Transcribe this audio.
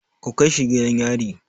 Ku kai shi gidan yari!